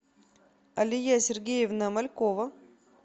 алия сергеевна малькова